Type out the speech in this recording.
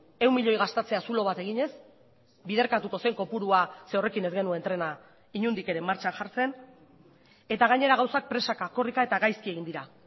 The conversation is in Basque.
ehun milioi gastatzea zulo bat eginez biderkatuko zen kopurua ze horrekin ez genuen trena inondik ere martxan jartzen eta gainera gauzak presaka korrika eta gaizki egin dira